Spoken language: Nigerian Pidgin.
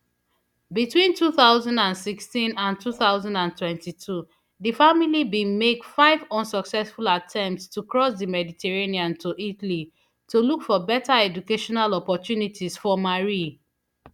between two thousand and sixteen and two thousand and twenty-two di family bin make five unsuccessful attempts to cross di mediterranean to italy to look for beta educational opportunities for marie